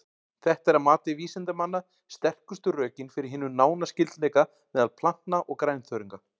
Þetta er að mati vísindamanna sterkustu rökin fyrir hinum nána skyldleika meðal plantna og grænþörunga.